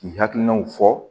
K'i hakilinaw fɔ